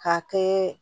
K'a kɛ